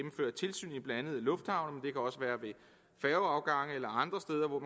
lufthavne det kan også være ved færgeafgange eller andre steder hvor